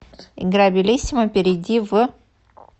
игра белисимо перейди в